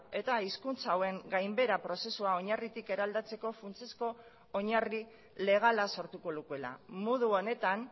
eta hizkuntza hauen gainbehera prozesua oinarritik eraldatzeko funtsezko oinarri legala sortuko lukeela modu honetan